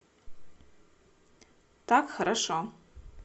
так хорошо